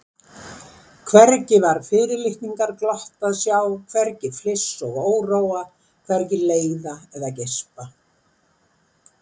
Hvergi var fyrirlitningarglott að sjá, hvergi fliss og óróa, hvergi leiða eða geispa.